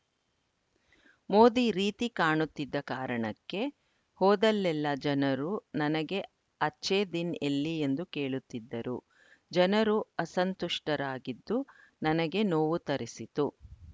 ಮೋದಿ ರೀತಿ ಕಾಣುತ್ತಿದ್ದ ಕಾರಣಕ್ಕೆ ಹೋದಲ್ಲೆಲ್ಲ ಜನರು ನನಗೆ ಅಚ್ಛೇ ದಿನ್‌ ಎಲ್ಲಿ ಎಂದು ಕೇಳುತ್ತಿದ್ದರು ಜನರು ಅಸಂತುಷ್ಟರಾಗಿದ್ದು ನನಗೆ ನೋವು ತರಿಸಿತು